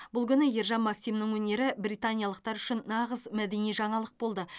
бұл күні ержан максимнің өнері британиялықтар үшін нағыз мәдени жаңалық болды